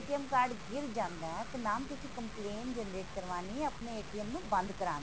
card ਗਿਰ ਜਾਂਦਾ ਤਾਂ mam ਤੁਸੀਂ complain generate ਕਰਵਾਨੀ ਹੈ ਆਪਣੇ ਨੂੰ ਬੰਦ ਕਰਵਾਨ ਲਈ